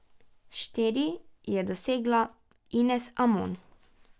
Štiri je dosegla Ines Amon.